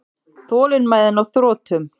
Þolinmæðin á þrotum.